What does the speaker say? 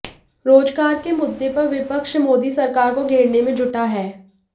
रोजगार के मुद्दे पर विपक्ष मोदी सरकार को घेरने में जुटा है